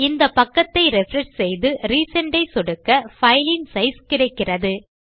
இந்த பக்கத்தை ரிஃப்ரெஷ் செய்து ரிசெண்ட் ஐ சொடுக்க பைல் இன் சைஸ் கிடைக்கிறது